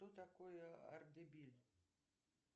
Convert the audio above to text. что такое ардебиль